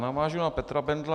Navážu na Petra Bendla.